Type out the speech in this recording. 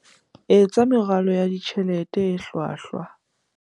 Etsa meralo ya ditjhelete e hlwahlwa